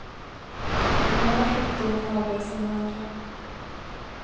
Den ena sjukdomen avlöser den andra.